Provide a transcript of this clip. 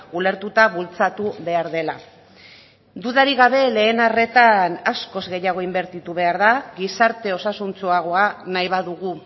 ulertuta bultzatu behar dela dudarik gabe lehen arretan askoz gehiago inbertitu behar da gizarte osasuntsuagoa nahi badugu